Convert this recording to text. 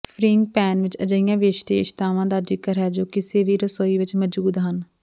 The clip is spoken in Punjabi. ਫ੍ਰੀਇੰਗ ਪੈਨ ਵਿਚ ਅਜਿਹੀਆਂ ਵਿਸ਼ੇਸ਼ਤਾਵਾਂ ਦਾ ਜ਼ਿਕਰ ਹੈ ਜੋ ਕਿਸੇ ਵੀ ਰਸੋਈ ਵਿਚ ਮੌਜੂਦ ਹਨ